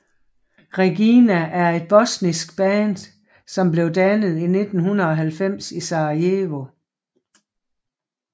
Regina er et bosnisk band som blev dannet i 1990 i Sarajevo